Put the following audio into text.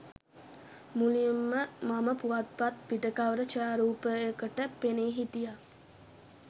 මුලින්ම මම පුවත්පත් පිට කවර ඡායාරූපයකට පෙනී හිටියා.